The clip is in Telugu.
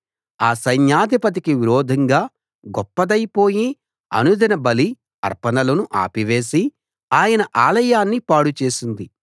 ఆ సైన్యాధిపతికి విరోధంగా గొప్పదైపోయి అనుదిన బలి అర్పణలను ఆపి వేసి ఆయన ఆలయాన్ని పాడు చేసింది